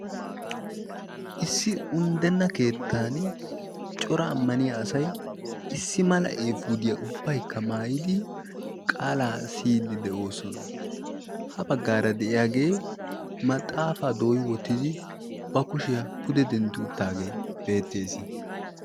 Issi unddenna keettan cora ammaniya asai issi mala'eefuudiyaa ubbaykka maayidi qaalaa siyiddi de'oosona. ha baggaara de'iyaagee maxaafaa dooyi wottidi ba kushiyaa pude dentti uttaagee beettees.